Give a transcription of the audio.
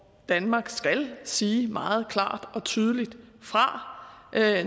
danmark skal sige meget klart og tydeligt fra